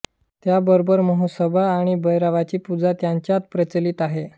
त्याबरोबर म्हसोबा आणि भैरवाची पूजा त्यांच्यात प्रचलित आहे